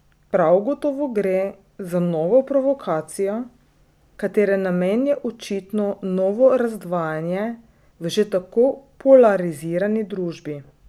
Prav gotovo gre za novo provokacijo, katere namen je očitno novo razdvajanje v že tako polarizirani družbi.